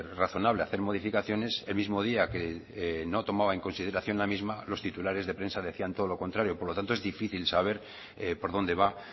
razonable hacer modificaciones el mismo día que no tomaba en consideración la misma los titulares de prensa decían todo lo contrario por tanto es difícil saber por dónde va